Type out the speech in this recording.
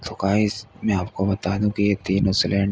सो guys मैं आपको बता दूं कि ये तीनों सिलेन --